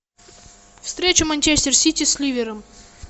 встреча манчестер сити с ливером